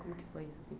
Como que foi isso assim?